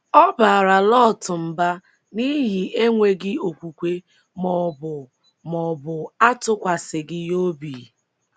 Ọ̀ baara Lọt mba n’ihi enweghị okwukwe ma ọ bụ ma ọ bụ atụkwasịghị Ya obi?